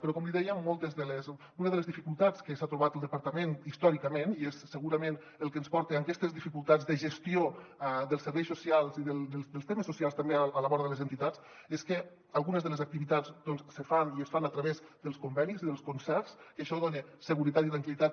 però com li deia una de les dificultats que s’ha trobat el departament històricament i és segurament el que ens porta a aquestes dificultats de gestió dels serveis socials i dels temes socials també a la vora de les entitats és que algunes de les activitats doncs se fan i es fan a través dels convenis i dels concerts que això dona seguretat i tranquil·litat